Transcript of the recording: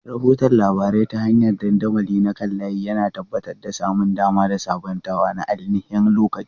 Rahoton labarai ta hanyar dandamali na kan layi, yana tabbatar da samun dama da sabuntawa na ainihin-lokaci.